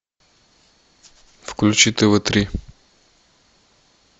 включи тв три